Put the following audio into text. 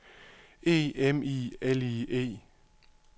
E M I L I E